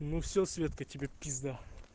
ну всё светка тебе пизда